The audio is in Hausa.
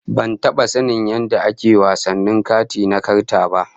Ban taba sanin yadda ake wasannin kati na karta ba